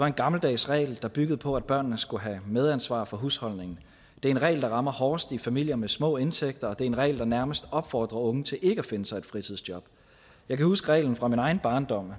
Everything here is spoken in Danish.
en gammeldags regel der har bygget på at børnene skulle have medansvar for husholdningen det er en regel der rammer hårdest i familier med små indtægter og det er en regel der nærmest opfordrer unge til ikke at finde sig et fritidsjob jeg kan huske reglen fra min egen barndom